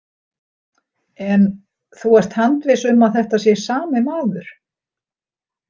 En þú ert handviss um að þetta sé sami maður?